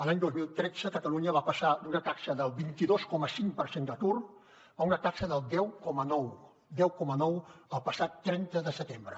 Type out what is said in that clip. l’any dos mil tretze catalunya va passar d’una taxa del vint dos coma cinc per cent d’atur a una taxa del deu coma nou el passat trenta de setembre